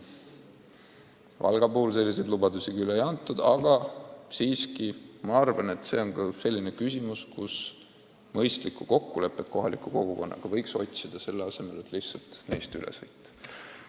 Valga puhul selliseid lubadusi küll ei ole antud, aga ma arvan, et sealgi tuleks otsida mõistlikku kokkulepet kohaliku kogukonnaga, selle asemel et neist lihtsalt üle sõita.